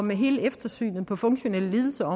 med hele eftersynet for funktionelle lidelser